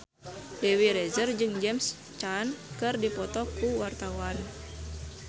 Dewi Rezer jeung James Caan keur dipoto ku wartawan